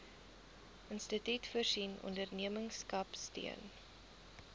instituut voorsien ondernemerskapsteun